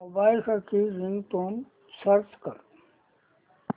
mobile साठी ringtone search कर